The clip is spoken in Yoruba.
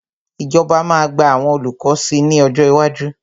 Ìjọba máa gba àwọn olùkọ́ sí ní ọjọ́ iwájú.